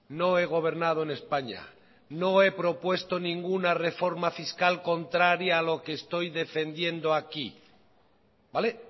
no he gobernado en españa no he propuesto ninguna reforma fiscal contraria a lo que estoy defendiendo aquí vale